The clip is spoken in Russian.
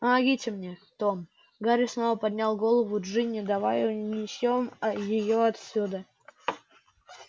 помогите мне том гарри снова поднял голову джинни давай унесём а её отсюда